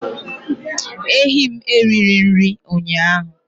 Ehi m erighị nri ụnyaahụ